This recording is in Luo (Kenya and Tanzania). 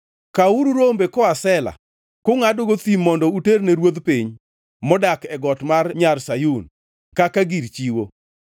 Kawuru rombe koa Sela kungʼadogo thim mondo uterne ruodh piny, modak e got mar Nyar Sayun kaka gir chiwo.